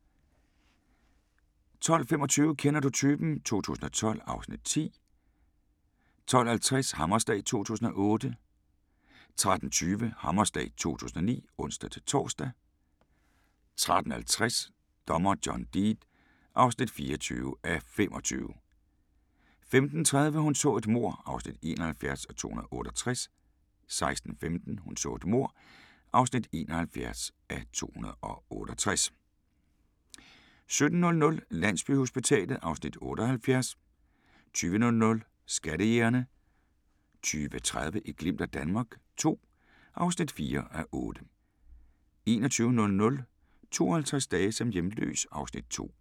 12:25: Kender du typen? 2012 (Afs. 10) 12:50: Hammerslag 2008 13:20: Hammerslag 2009 (ons-tor) 13:50: Dommer John Deed (24:25) 15:30: Hun så et mord (71:268) 16:15: Hun så et mord (71:268) 17:00: Landsbyhospitalet (Afs. 78) 20:00: Skattejægerne 20:30: Et glimt af Danmark II (4:8) 21:00: 52 dage som hjemløs (2:7)